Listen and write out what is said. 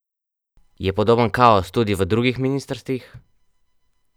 Je podoben kaos tudi v drugih ministrstvih?